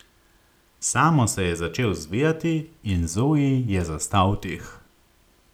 Samo se je začel zvijati in Zoji je zastal dih.